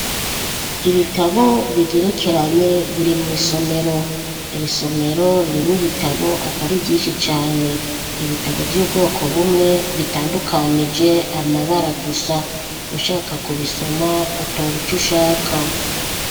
Ibitabo bigerekeranye biri mw'isomero. Iri somero ririmwo ibitabo atari vyinshi cane. Ibitabo vy'ubwoko bumwe bitandukanije amabara gusa, ushaka kubisoma utora ico ushaka.